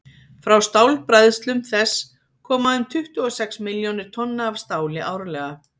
frá stálbræðslum þess koma um tuttugu og sex milljónir tonna af stáli árlega